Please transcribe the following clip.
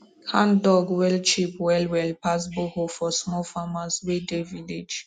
handdug well cheap well well pass borehole for small farmers wey dey village